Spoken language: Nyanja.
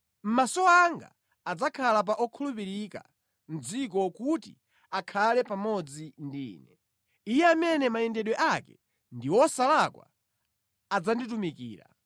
Maso anga adzakhala pa okhulupirika mʼdziko, kuti akhale pamodzi ndi ine; iye amene mayendedwe ake ndi wosalakwa adzanditumikira.